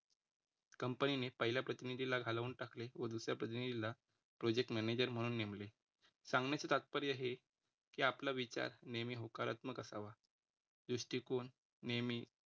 कंपनीने पहिल्या प्रतिनिधीला घालवून टाकले व दुसऱ्या पद्धतीने जिल्हा Project Manager म्हणून नेमले. सांगण्याची तात्पर्य हे की आपला विचार नेहमी होकारात्मक असावा दृष्टिकोन नेहमी